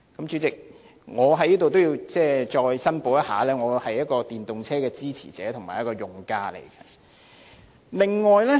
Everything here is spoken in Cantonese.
主席，我也要在此申報，我是電動車的支持者和用家。